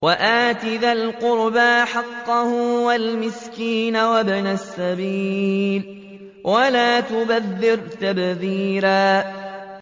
وَآتِ ذَا الْقُرْبَىٰ حَقَّهُ وَالْمِسْكِينَ وَابْنَ السَّبِيلِ وَلَا تُبَذِّرْ تَبْذِيرًا